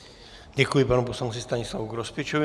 Děkuji panu poslanci Stanislavu Grospičovi.